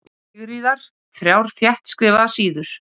Sigríðar, þrjár þéttskrifaðar síður.